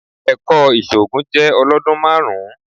Ẹ̀kọ́ ìṣògùn jẹ́ ọlọ́dún márùn-ún.